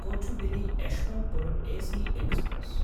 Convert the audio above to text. Kochuveli Yesvantpur AC express